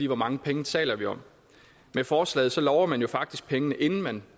hvor mange penge taler vi om med forslaget lover man faktisk pengene inden man